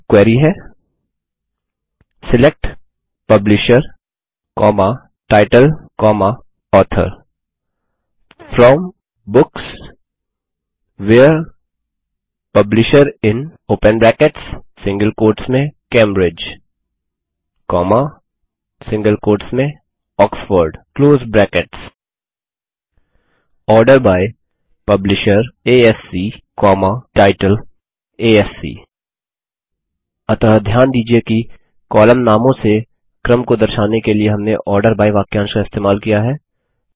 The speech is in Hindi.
और यहाँ क्वेरी है select publisher title author from books where publisher in Cambridge Oxford order by publisher ASC title ASC अतः ध्यान दीजिये कि कॉलम नामों से क्रम को दर्शाने के लिए हमने आर्डर बाय वाक्यांश का इस्तेमाल किया है